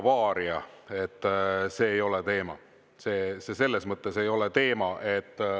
Selles mõttes, et see ei ole teema.